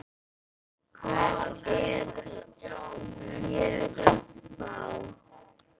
Hvern er ég að fá?